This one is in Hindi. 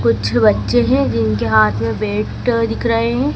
कुछ बच्चे हैं जिनके हाथ में वेट दिख रहे हैं।